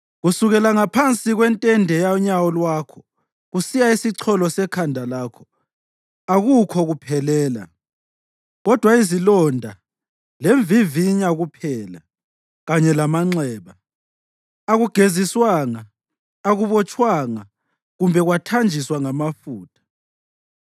Kusukela ngaphansi kwentende yonyawo lwakho kusiya esicholo sekhanda lakho akukho kuphelela, kodwa izilonda lemvivinya kuphela, kanye lamanxeba; akugeziswanga, akubotshwanga kumbe kwathanjiswa ngamafutha.